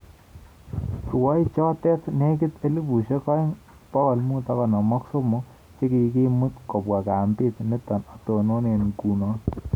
Rwaichoto nekitei 2553 chekikimut kopwa kambit nitok atonone ngunoo